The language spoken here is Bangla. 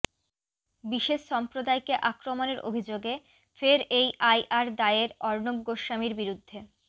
বিশেষ সম্প্রদায়কে আক্রমণের অভিযোগে ফের এই আই আর দায়ের অর্ণব গোস্বামীর বিরুদ্ধে